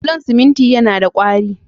Bulon siminti yana da ƙwari.